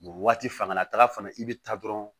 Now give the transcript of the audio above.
waati fanga la taga fana i bɛ taa dɔrɔn